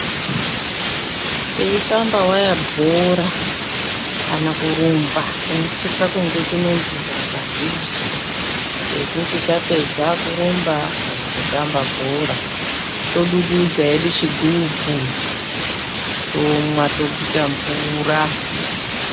Titamba waya bhora kana kurumba tinosisa kunge tine mvura padhuze yekuti tapedza kurumba kana kutamba bhora todududza hedu chigubu tomwa toguta mvura.